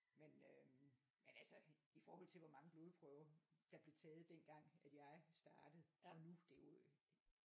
Men øhm men altså i forhold til hvor mange blodprøver der blev taget dengang at jeg startede og nu det jo øh